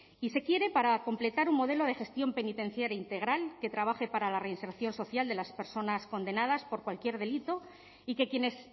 y se quiere para completar un modelo de gestión penitenciaria integral que trabaje para la reinserción social de las personas condenadas por cualquier delito y que quienes